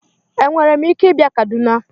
Enwere m ike ịbịa Kaduna?